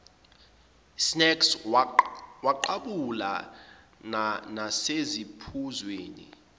snacks waqhabula nasesiphuzweni